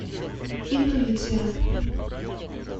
интуиция